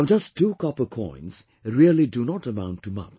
Now just two copper coins really do not amount to much